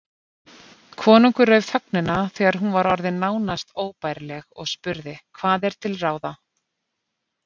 Konungur rauf þögnina þegar hún var orðin nánast óbærileg og spurði:-Hvað er til ráða?